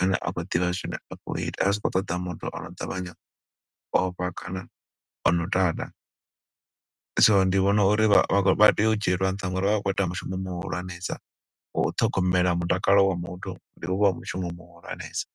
ane a khou ḓivha zwine a khou ita. A zwi khou ṱoḓa muthu ono ṱavhanya u ofha kana ono tata. So ndi vhona uri vha vha tea u dzhielwa nṱha nga uri vha vha vha khou ita mushumo muhulwanesa, wa u ṱhogomela mutakalo wa muthu. Ndi muṅwe wa mushumo muhulwanesa.